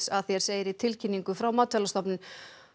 að því er segir í tilkynningu frá Matvælastofnun